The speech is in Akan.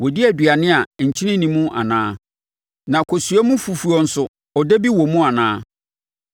Wɔdi aduane a nkyene nni mu anaa, na kosua mu fufuo nso ɔdɛ bi wɔ mu anaa?